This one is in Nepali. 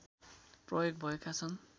प्रयोग भएका छन्